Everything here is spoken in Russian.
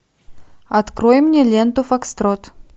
открой мне ленту фокстрот